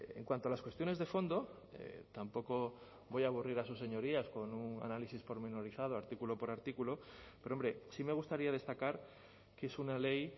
en cuanto a las cuestiones de fondo tampoco voy a aburrir a sus señorías con un análisis pormenorizado artículo por artículo pero hombre sí me gustaría destacar que es una ley